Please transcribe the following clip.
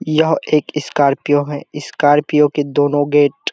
यह एक स्कार्पियो है स्कार्पियो के दोनों गेट --